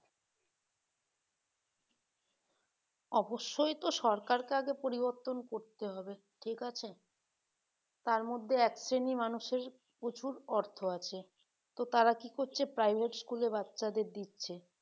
অবশ্যই তো সরকারকে আগে এগুলো পরিবর্তন করতে হবে ঠিক আছে তার মধ্যে এক শ্রেণী মানুষের প্রচুর অর্থ আছে তো তারা কি করছে private school এ বাচ্চাদের দিচ্ছে